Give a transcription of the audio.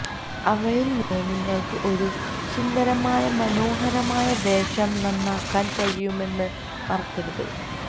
അവയിൽ നിന്ന് നിങ്ങൾക്ക് ഒരു സുന്ദരമായ മനോഹരമായ വേഷം നന്നാക്കാൻ കഴിയുമെന്ന് മറക്കരുത്